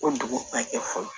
O dugu bɛɛ kɛ fɔlɔ